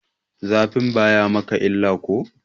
Zafin bayi maka illa ko?